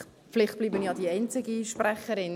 Vielleicht bleibe ich ja die einzige Sprecherin.